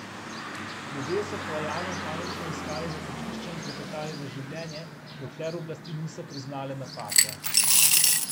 Ljudje so po alarmu panično iskali zatočišča in trepetali za življenje, dokler oblasti niso priznale napake.